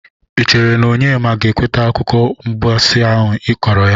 Ị chere na Onyema ga-ekwete akụkọ mgbasị ahụ ị kọrọ ha?